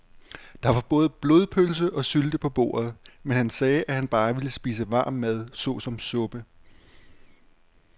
Der var både blodpølse og sylte på bordet, men han sagde, at han bare ville spise varm mad såsom suppe.